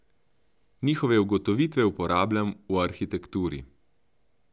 Njihove ugotovitve uporabljam v arhitekturi.